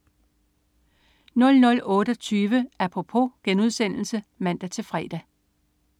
00.28 Apropos* (man-fre)